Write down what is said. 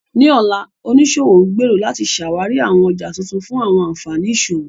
Ní ọ̀la, oníṣòwò ń gbèrò láti ṣàwárí àwọn ọjà tuntun fún àwọn ànfàní ìṣòwò.